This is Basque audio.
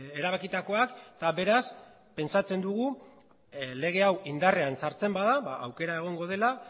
erabakitakoak eta beraz pentsatzen dugu lege hau indarrean sartzen bada aukera egongo dela